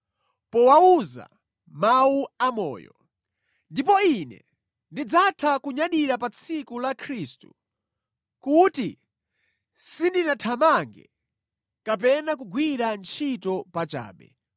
powawuza mawu amoyo. Ndipo ine ndidzatha kunyadira pa tsiku la Khristu kuti sindinathamange kapena kugwira ntchito pachabe.